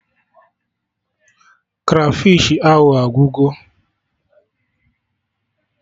Krafish ahụ agwụgo